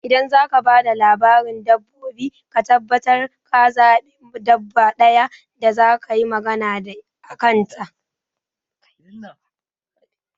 Idan zaka ba da labarin dabbobi ka tabbatar ka zaɓi dabba ɗaya da zakayi magana a kan ta